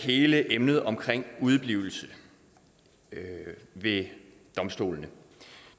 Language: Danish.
hele emnet omkring udeblivelse ved domstolene